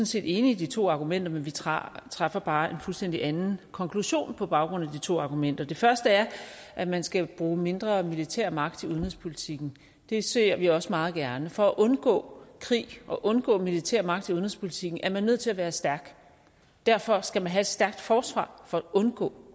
set enige i de to argumenter men vi træffer træffer bare en fuldstændig anden konklusion på baggrund af de to argumenter det første er at man skal bruge mindre militær magt til udenrigspolitikken det ser vi også meget gerne for at undgå krig og undgå militær magt i udenrigspolitikken er man nødt til at være stærk og derfor skal man have et stærkt forsvar for at undgå